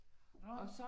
Åh